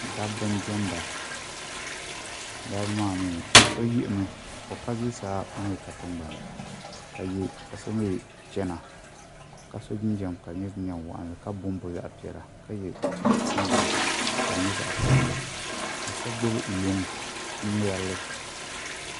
Dabba n diɛmda dabba maa mii so yiɣimi o ka zuɣusaa o mii ka tingbanni ka so mii chana ka so jinjɛm ka di nyɛ jinjɛm waɣanli ka bonbo zaɣ piɛla ka yɛ singirɛti ka di nyɛ zaɣ piʋlli ka so gbubi luŋ n ŋmɛrili